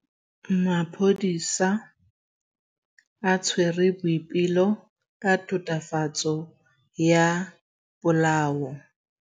Maphodisa a tshwere Boipelo ka tatofatsô ya polaô.